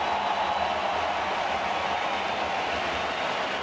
já